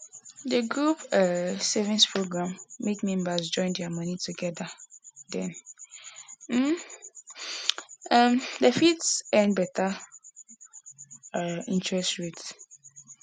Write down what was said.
the group um savings program make members join their money together then um dem fit earn better um interest rates